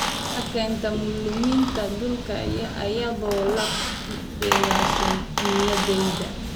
Waxay keentaa luminta dhulka iyadoo la dhisayo nidaamyada.